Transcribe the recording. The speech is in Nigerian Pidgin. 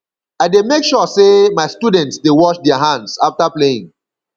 i dey make sure sey my students dey wash their hands afta playing